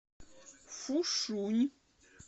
фушунь